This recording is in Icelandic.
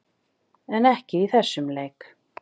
En ekki í þessum leik.